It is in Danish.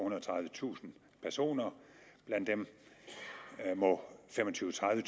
og tredivetusind personer og blandt dem må femogtyvetusind